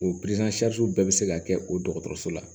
O bɛɛ bɛ se ka kɛ o dɔgɔtɔrɔso la